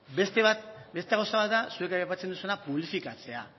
beste gauza bat da zuek aipatzen duzuena publifikatzea